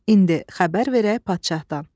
İndi xəbər verək padşahdan.